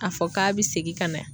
A fɔ k'a bi segin ka na